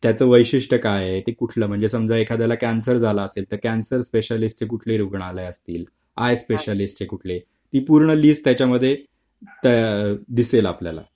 त्याचे वैशिष्ट्य काय आहे ते कुठला म्हणजे समजा एखाद्याला कॅन्सर झाला असेल तर कॅन्सर स्पेशालिस्ट कुठली रुग्णालय असतील आय स्पेशलिस्ट कुठली ती पूर्ण लिस्ट त्याच्यामध्ये दिसेल आपल्याला